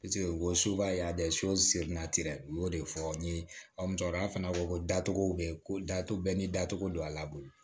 u ko u y'o de fɔ n ye musokɔrɔba fana ko datugu bɛ ko datugu bɛɛ ni datugu don a laban